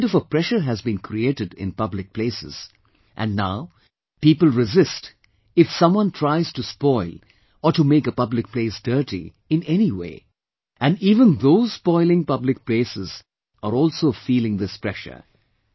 A kind of a pressure has been created in public places and now people resist if someone tries to spoil or to make a public place dirty in any way and even those spoiling public places are also feeling this pressure